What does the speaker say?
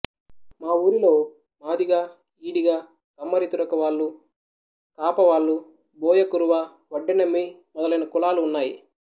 మా ఊరిలో మాదిగ ఈడిగకమ్మరితురక వాళ్ళుకాప వాళ్ళు బోయకురువవడ్డెనెమ్మి మొదలైన కులాలు ఉన్నాయి